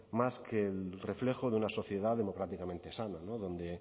más que el reflejo de una sociedad democráticamente sana donde